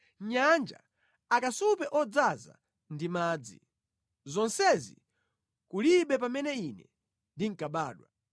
Nyanja, akasupe odzaza ndi madzi, zonsezi kulibe pamene ine ndinkabadwa.